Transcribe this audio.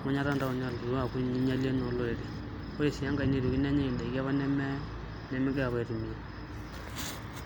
emanyatta oontaoni aaku inyialie naa olorere ore sii enkae neetuoki nenyai ndaiki nemegirai apa aitumiaa.